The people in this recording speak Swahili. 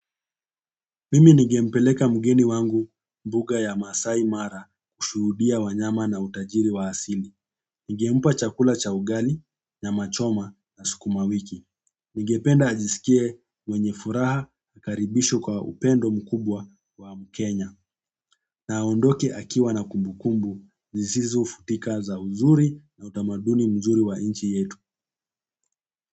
Mimi ningempeleka mgeni wangu mbuga ya Maasai Mara kushuhudia wanyama na utajiri wa asili. Ningempa chakula cha ugali, nyama choma na sukuma wiki. Ningependa ajisikie mwenye furaha, akaribishwe kwa upendo mkubwa wa Mkenya. Na aondoke akiwa na kumbukumbu zisizofutika za uzuri na utamaduni mzuri wa nchi yetu.